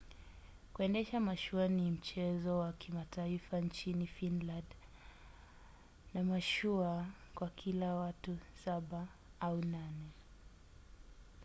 kuendesha mashua ni mchezo wa kimataifa nchini finland na mashua kwa kila watu saba au nane